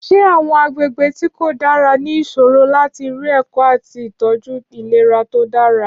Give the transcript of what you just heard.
Ṣé àwọn agbègbè tí kò dára ní ìṣòro láti rí ẹ̀kọ́ àti ìtọ́jú ìlera tó dára?